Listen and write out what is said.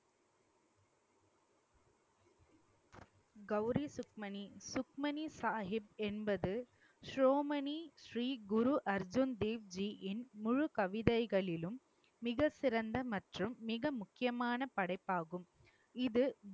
கௌரி சுக்மணி சுக்மணி சாகிப் என்பது சிரோமணி ஸ்ரீ குரு அர்ஜுன் தேவ்ஜியின் முழு கவிதைகளிலும் மிகச்சிறந்த மற்றும் மிக முக்கியமான படைப்பாகும். இது